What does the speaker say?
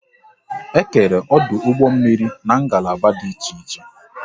E kere ọdụ ụgbọ mmiri n'ngalaba dị iche iche